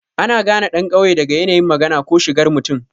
Ana gane ɗan ƙauye daga yanayin magana ko shigar mutum.